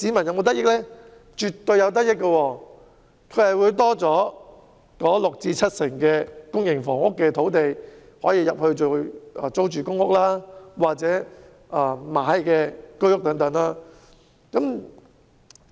他們絕對會有得益，因為新增的六成至七成公營房屋土地，可以建成為租住公屋或出售居屋。